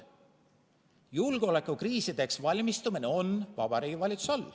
Julgeolekukriisideks valmistumine on Vabariigi Valitsuse all.